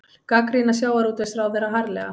Gagnrýna sjávarútvegsráðherra harðlega